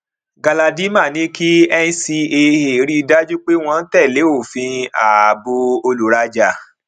galadima ní kí ncaa rí dájú pé wọn tẹlé òfin ààbò olùrajà